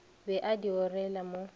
be a di orela mo